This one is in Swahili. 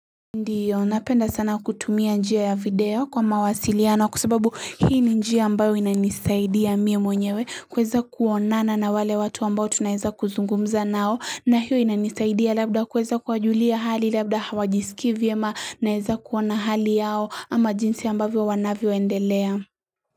Ndiyo, napenda sana kutumia njia ya video kwa mawasiliano kwa sababu hii ni njia ambayo inanisaidia mimi mwenyewe kuweza kuonana na wale watu ambao tunaeza kuzungumza nao na hiyo inanisaidia labda kuweza kuwajulia hali labda hawajisiki vyema naeza kuona hali yao ama jinsi ambavyo wanavyo endelea.